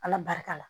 Ala barika la